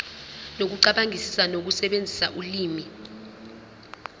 nokucabangisisa ukusebenzisa ulimi